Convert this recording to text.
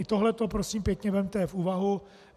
I tohle prosím pěkně vezměte v úvahu.